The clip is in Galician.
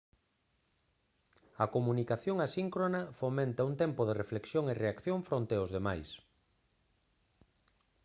a comunicación asíncrona fomenta un tempo de reflexión e reacción fronte aos demais